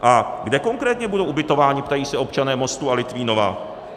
A kde konkrétně budou ubytováni? ptají se občané Mostu a Litvínova.